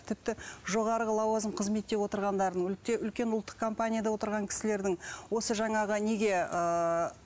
тіпті жоғарғы лауазым қызметте отырғандардың үлкен ұлттық компанияда отырған кісілердің осы жаңағы неге ыыы